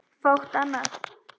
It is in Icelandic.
Fátt annað.